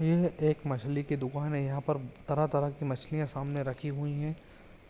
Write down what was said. यह एक मछली की दुकान है यहां पर तरह तरह की मछलीयाँ सामने रखी हुईं है